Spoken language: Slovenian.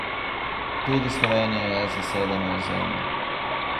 Tudi Slovenija je zasedeno ozemlje.